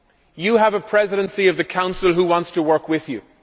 You have a Presidency of the Council which wants to work with you.